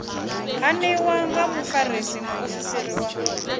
haniwa nga mufarisa muofisiri wa